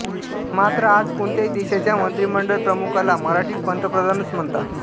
मात्र आज कोणत्याही देशाच्या मंत्रिमंडळ प्रमुखाला मराठीत पंतप्रधानच म्हणतात